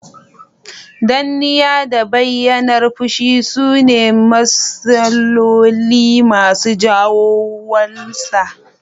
Danniya, da bayyanar fushi sune misaloli masu jawo 'walsa